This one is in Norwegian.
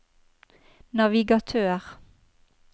navigatør